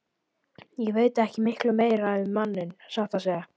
Ég veit ekki miklu meira um manninn, satt að segja.